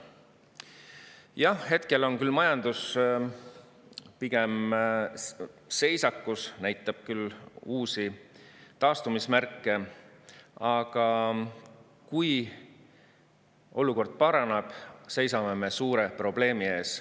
Jah, hetkel on küll majandus pigem seisakus, ehkki näitab ka uusi taastumismärke, aga kui olukord paraneb, seisame me suure probleemi ees.